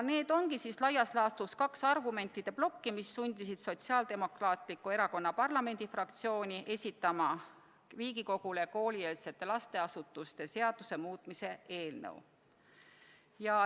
Need ongi laias laastus kaks argumentide plokki, mis sundisid Sotsiaaldemokraatliku Erakonna parlamendifraktsiooni esitama Riigikogule koolieelse lasteasutuse seaduse muutmise seaduse eelnõu.